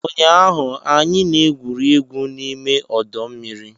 Ụnyaahụ, anyị na-egwuri egwu n'ime ọdọ mmiri